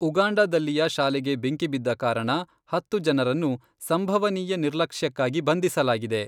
ಉಗಾಂಡಾದಲ್ಲಿಯ ಶಾಲೆಗೆ ಬೆಂಕಿ ಬಿದ್ದ ಕಾರಣ ಹತ್ತು ಜನರನ್ನು ಸಂಭವನೀಯ ನಿರ್ಲಕ್ಷ್ಯಕ್ಕಾಗಿ ಬಂಧಿಸಲಾಗಿದೆ.